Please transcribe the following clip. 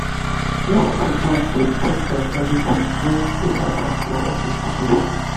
i just siddon dey tink of everytin wey happen for office today.